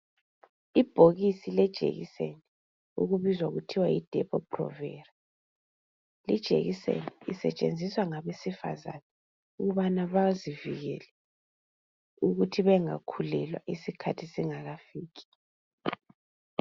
Ibhokisi lejekiseni okubizwa kuthiwa yiDepo-provera lijekiseni isetshenziswa ngabesifazana ukubana bazivikele ukuthi bengakhulelwa isikhathi singakafiki.